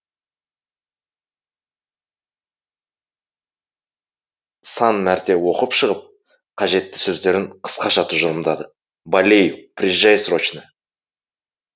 сан мәрте оқып шығып қажетті сөздерін қысқаша тұжырымдады болею приезжай срочно